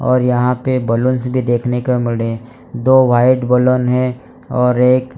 और यहां पे बैलूंस भी देखने को मिल रहे दो वाइट बैलून हैं और एक --